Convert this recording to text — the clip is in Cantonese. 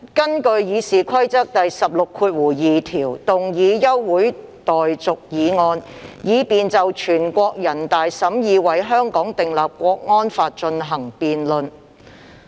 我根據《議事規則》第162條要求動議休會待續議案，以便就全國人民代表大會審議為香港訂立國安法進行辯論。